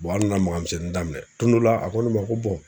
an nana maga misɛnnin daminɛ don dɔ la a ko ne ma ko